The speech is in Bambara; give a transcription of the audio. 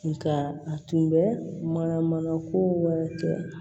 Nka a tun bɛ mana mana ko wɛrɛ kɛ